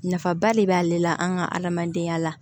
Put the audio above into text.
Nafaba de b'ale la an ka adamadenya la